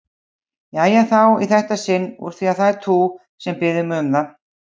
Jæja þá, í þetta sinn úr því það ert þú, sem biður mig um það.